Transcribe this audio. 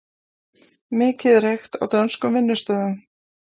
Mikið reykt á dönskum vinnustöðum